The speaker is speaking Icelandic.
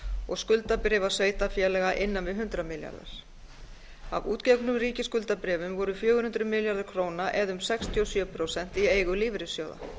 og skuldabréfa sveitarfélaga innan við hundrað milljarðar af útgefnum ríkisskuldabréfum voru fjögur hundruð milljarðar króna eða um sextíu og sjö prósent í eigu lífeyrissjóða